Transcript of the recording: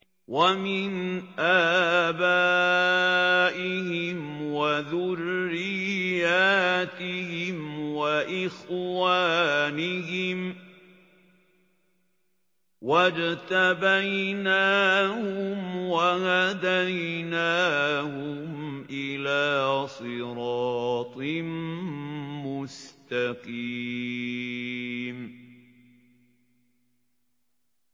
وَمِنْ آبَائِهِمْ وَذُرِّيَّاتِهِمْ وَإِخْوَانِهِمْ ۖ وَاجْتَبَيْنَاهُمْ وَهَدَيْنَاهُمْ إِلَىٰ صِرَاطٍ مُّسْتَقِيمٍ